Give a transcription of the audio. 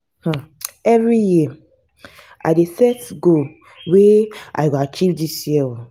um every year i dey set goals wey i go achieve dis year ooo.